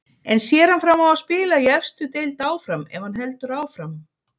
En sér hann fram á að spila í efstu deild áfram ef hann heldur áfram?